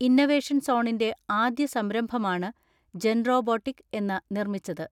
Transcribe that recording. Innovation സോണിന്റെ ആദ്യ സംരംഭമാണ് ജൻറോബോട്ടിക് എന്ന നിർമ്മിച്ചത്.